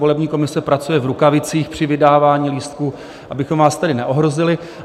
Volební komise pracuje v rukavicích při vydávání lístků, abychom vás tedy neohrozili.